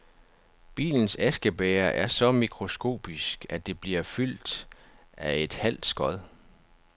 Bilens askebæger er så mikroskopisk, at det bliver fyldt af et halvt skod.